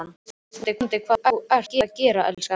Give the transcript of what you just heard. Þú veist vonandi hvað þú ert að gera, elskan!